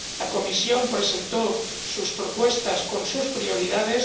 La Comisión presentó sus propuestas con sus prioridades